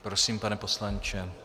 Prosím, pane poslanče.